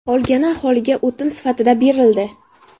Qolgani aholiga o‘tin sifatida berildi.